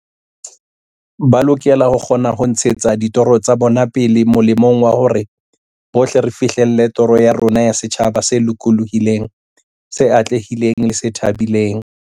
Ba lokela ho kgona ho ntshetsa ditoro tsa bona pele molemong wa hore bohle re fihlelle toro ya rona ya setjhaba se lokolohileng, se atlehileng le se thabileng.